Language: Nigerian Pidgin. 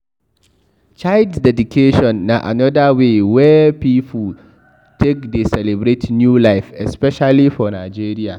Child dedication na anoda wey wey pipo take dey celebrate new life especially for Nigeria